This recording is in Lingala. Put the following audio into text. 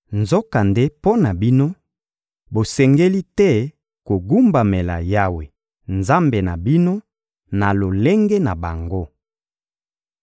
Nzokande mpo na bino, bosengeli te kogumbamela Yawe, Nzambe na bino, na lolenge na bango.